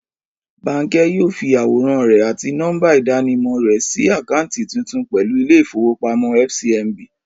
Bánkẹ yóò fi àwòrán rẹ̀ àti nọ́mbà ìdánimọ̀ rẹ ṣí àkáǹtì tuntun pẹ̀lú ilé ìfowópamọ́ FCMB